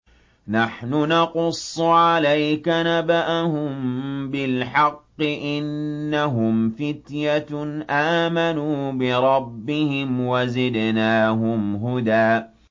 نَّحْنُ نَقُصُّ عَلَيْكَ نَبَأَهُم بِالْحَقِّ ۚ إِنَّهُمْ فِتْيَةٌ آمَنُوا بِرَبِّهِمْ وَزِدْنَاهُمْ هُدًى